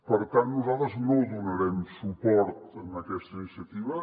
per tant nosaltres no donarem suport a aquesta iniciativa